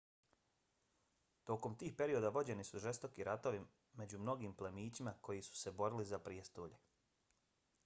tokom tih perioda vođeni su žestoki ratovi među mnogim plemićima koji su se borili za prijestolje